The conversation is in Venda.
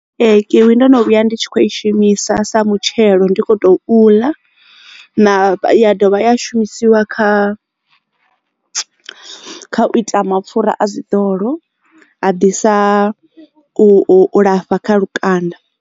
Ee kiwi ndono vhuya ndi tshi khou ishumisa sa mutshelo ndi kho to u ḽa na a dovha ya shumisiwa kha u ita mapfura a zwiḓolo a ḓisa u lafha kha lukanda.